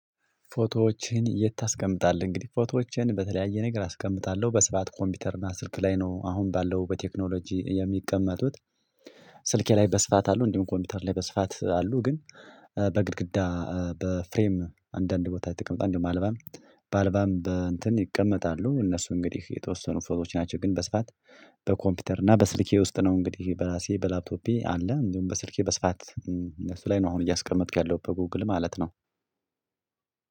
ፎቶዎችን የት ታስቀምጣለህ? እንግዲህ ፎቶዎችን በተለያየ ነገር አስቀምጣለሁ በስርዓት ኮምፒውተር እና ስልክ ላይ ነው አሁን ባለው በቴክኖሎጂ የሚቀመጡት። ስልኬ ላይ በስፋት አሉ እንዲሁም ኮምፒውተር ላይ በስፋት አሉ። ግን በግድግዳ በፍሬም አንዳንድ ቦታ የተቀመጠ አንድ በአልበም በአልበም በእንትን ይቀመጣሉ። እነሱ እንግዲህ የተወሰኑ ፎቶዎች ናቸው ግን በስፋት በኮምፒውተር እና በስልኬ ውስጥ ነው። እንግዲህ በራሴ በላፕቶፔ አለ። እንዲሁም በስልኬ በስፋት እነሱ ላይ ነው አሁን እያስቀመጥኩ ያለው በጎግል ማለት ነው።